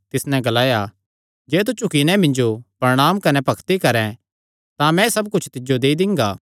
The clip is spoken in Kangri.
तिस नैं ग्लाया जे तू झुकी नैं मिन्जो प्रणांम कने भक्ति करैं तां मैं एह़ सब कुच्छ तिज्जो देई दिंगा